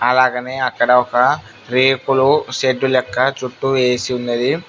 అలాగనే అక్కడ ఒక రేకులు షెడ్డు లెక్క చుట్టూ వేసి ఉన్నది.